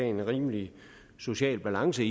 en rimelig social balance